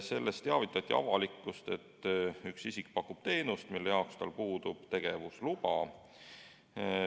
Selles teavitati avalikkust, et üks isik pakub teenust, mille jaoks tal puudub tegevusluba.